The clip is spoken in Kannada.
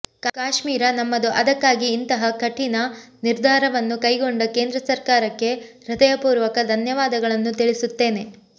ಕಾಶ್ಮೀರ ನಮ್ಮದು ಅದಕ್ಕಾಗಿ ಇಂತಹ ಕಠಿನ ನಿರ್ಧಾರವನ್ನು ಕೈಗೊಂಡ ಕೇಂದ್ರ ಸರಕಾರಕ್ಕೆ ಹೃದಯ ಪೂರ್ವಕ ಧನ್ಯವಾದಗಳನ್ನು ತಿಳಿಸುತ್ತೇನೆ